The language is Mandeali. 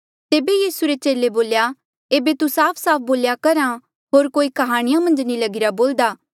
तेबे यीसू रे चेले बोल्या एेबे तू साफसाफ बोल्या करहा होर कोई काह्णियां मन्झ नी लगीरा बोल्दा